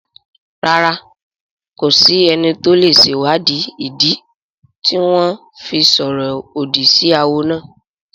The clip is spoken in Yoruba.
Rárá, kò sí ẹni tó lè sèwáàdí ìdí tí wọ́n fi sọ̀rọ̀ òdì sí awo náà